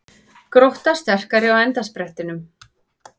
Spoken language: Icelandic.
Grótta sterkari á endasprettinum